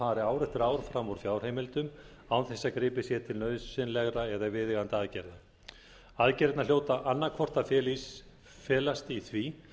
ár fram úr fjárheimildum án þess að gripið sé til nauðsynlegra eða viðeigandi aðgerða aðgerðirnar hljóta annaðhvort að felast í því